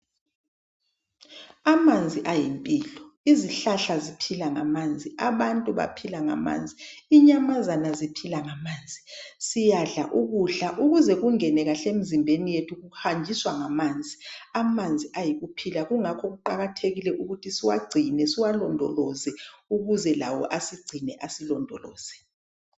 Amanzi ayimpilo izihlahla ziphilangamanzi abantu baphilangamanzi inyamazana ziphila ngamanzi siyadla ukudla ukuze kungenekahle emzimbeni yethu kuhanjiswa ngamanzi , amanzi ayikuphila kungakho kuqakathekile ukuthi siwagcine siwalondoloze ukuzelawo asigcine asilondoloze